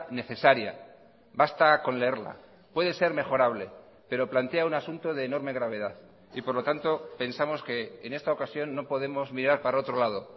necesaria basta con leerla puede ser mejorable pero plantea un asunto de enorme gravedad y por lo tanto pensamos que en esta ocasión no podemos mirar para otro lado